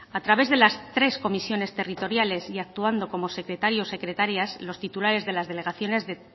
a través de las tres comisiones territoriales y actuando como secretario secretarias los titulares de las delegaciones